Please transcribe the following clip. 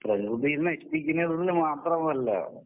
പ്രകൃതിയെ നശിപ്പിക്കുന്നത് മാത്രമല്ല.